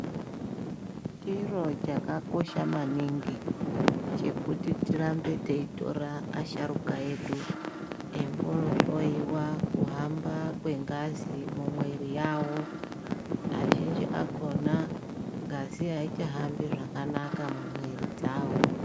Chiro chakakosha maningi chekuti tirambe teitora asharuka edu eimbohloiwa kuhamba kwengazi mumwiri yawo, azhinji akhona ngazi aichahambi zvakanaka mumwiri dzawo.